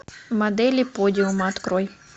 модели подиума открой